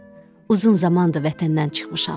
Uzun zamandır vətəndən çıxmışam.